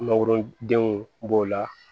Mangorodenw b'o la